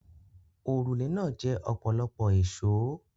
Òrùlé náà jẹ ọ̀pọ̀lọpọ̀ èsòó.